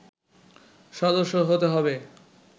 সদস্য হতে হবে